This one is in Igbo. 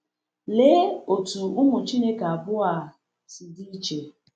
Lee otú ụmụ Chineke abụọ a si dị iche!